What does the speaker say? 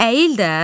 Əyil də.